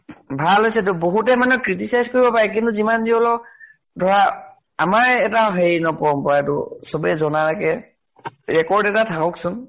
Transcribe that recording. ভাল হৈছে এইটো। বহুতে মানে criticize কৰিব পাৰে, কিন্তু যিমান যি হলেও ধৰা আমাৰ এটা হেৰি ন পৰম্পৰাটো। চবে জনা কে record এটা থাকক চোন।